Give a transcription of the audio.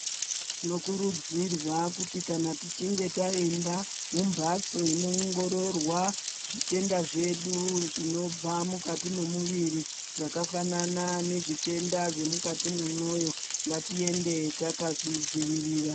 Tinokurudzirwa kuti kana tichinge taenda mumbatso inoongororwa zvitenda zvedu zvinobva mukati memuviri zvakafanana ngezvitenda zvemukati mwemwoyo ngatiende takazvidzivirira.